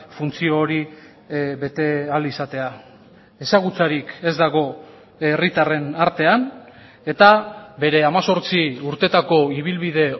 funtzio hori bete ahal izatea ezagutzarik ez dago herritarren artean eta bere hemezortzi urteetako ibilbide